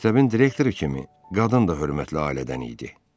Məktəbin direktoru kimi qadın da hörmətli ailədən idi.